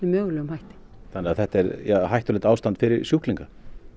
mögulegum hætti þannig að þetta er hættulegt ástand fyrir sjúklinga